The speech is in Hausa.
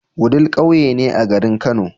Wudil ƙauye ne a garin kano